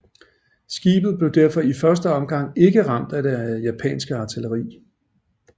Skibet blev derfor i første omgang ikke ramt af det japanske artilleri